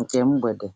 nke mgbede.